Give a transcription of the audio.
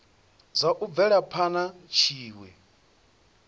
zwa u bvela phana tshiwe